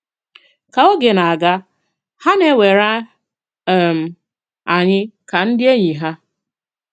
Kà ògè na-àgà, hà na-àwèrè um ànyị̀ ka ndị ènỳí ha.